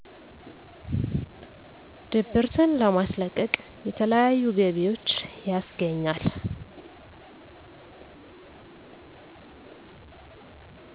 ድብርትን ለማስለቀቅ የተለያዩ ገቢዎች ያስገኛል